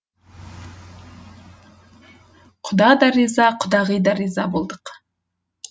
құда да риза құдағи да риза болдық